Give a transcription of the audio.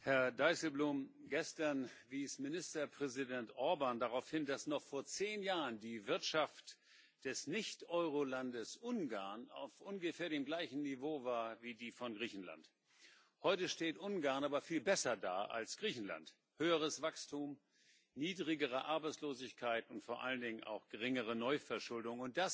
Frau Präsidentin! Herr Dijsselbloem! Gestern wies Ministerpräsident Orbán darauf hin, dass noch vor 10 Jahren die Wirtschaft des Nicht-Eurolandes Ungarn auf ungefähr dem gleichen Niveau war wie die von Griechenland. Heute steht Ungarn aber viel besser da als Griechenland höheres Wachstum, niedrigere Arbeitslosigkeit und vor allen Dingen auch geringere Neuverschuldung.